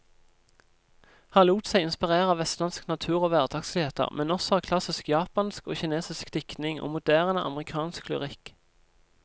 Han lot seg inspirere av vestlandsk natur og hverdagsligheter, men også av klassisk japansk og kinesisk diktning og moderne amerikansk lyrikk.